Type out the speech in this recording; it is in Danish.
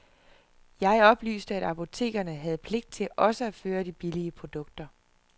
Jeg oplyste, at apotekerne havde pligt til også at føre de billige produkter.